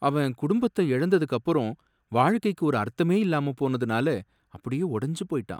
அவன் குடும்பத்தை இழந்ததுக்கு அப்புறம் வாழ்க்கைக்கு ஒரு அர்த்தமே இல்லாம போனதுனால அப்படியே உடஞ்சு போயிட்டான்.